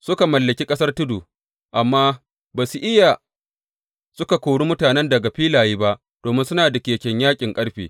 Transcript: Suka mallaki ƙasar tudu, amma ba su iya suka kori mutanen daga filaye ba, domin suna da keken yaƙin ƙarfe.